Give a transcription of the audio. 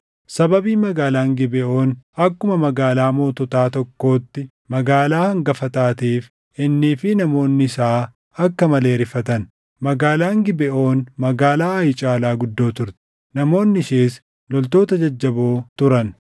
Sababii magaalaan Gibeʼoon akkuma magaalaa moototaa tokkootti magaalaa hangafa taateef innii fi namoonni isaa akka malee rifatan; magaalaan Gibeʼoon magaalaa Aayi caalaa guddoo turte; namoonni ishees loltoota jajjaboo turan.